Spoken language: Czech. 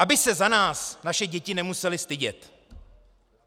Aby se za nás naše děti nemusely stydět.